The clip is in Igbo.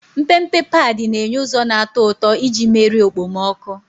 Mpempe padi na-enye ụzọ na-atọ ụtọ iji merie okpomọkụ.